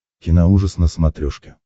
киноужас на смотрешке